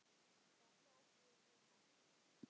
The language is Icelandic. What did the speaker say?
Þá tók við vinna.